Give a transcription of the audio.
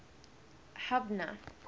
hubner